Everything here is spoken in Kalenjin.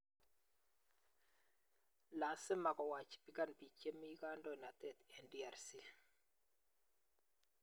Lasima ko wachibikan biik che mi kandoinatet eng DRC